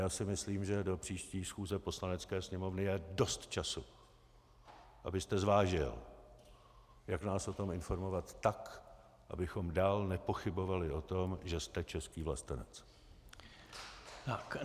Já si myslím, že do příští schůze Poslanecké sněmovny je dost času, abyste zvážil, jak nás o tom informovat tak, abychom dál nepochybovali o tom, že jste český vlastenec.